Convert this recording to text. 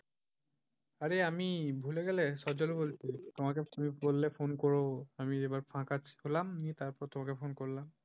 আরে আমি ভুলে গেলে? সজল বলছি। আমাকে তুমি বললে phone করবো আমি এবার ফাকা পেলাম তারপর তোমাকে ফোন করলাম।